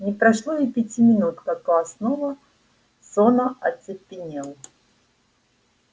не прошло и пяти минут как класс снова сонно оцепенел